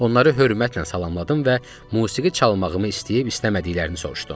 Onları hörmətlə salamladım və musiqi çalmağımı istəyib-istəmədiklərini soruşdum.